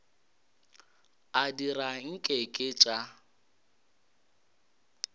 a dira nke ke tša